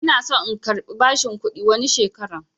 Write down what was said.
Ina son in karbi bashin kuɗi wani shekaran